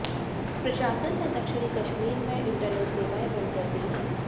प्रशासन ने दक्षिणी कश्मीर में इंटरनेट सेवाएं बंद कर दी हैं